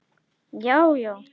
GRÍMUR: Já, já!